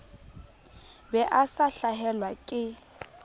be a sa hlahelwa ke